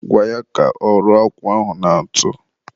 gwa ya ka ọ rụọ akwụ ahụ na ntụ